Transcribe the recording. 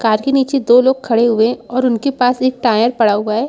Car के नीचे दो लोग खड़े हुए हैं और उनके पास एक टायर पड़ा हुआ है।